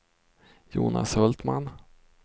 Jonas Hultman